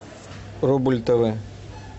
рубль тв